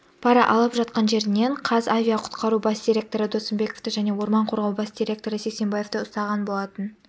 пара алып жатқан жерінен қазавиақұтқару бас директоры досымбековты және орман қорғау бас директоры сексенбаевты ұстаған болатын